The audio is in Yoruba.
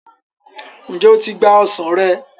njé o tí gbà ọsán rẹ.